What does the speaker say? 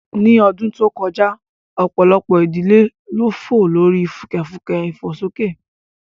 Ní ọdún tó kọjá, ọ̀pọ̀lọpọ̀ ìdílé ló fò lórí fùkẹ̀fùkẹ̀ ìfòsókè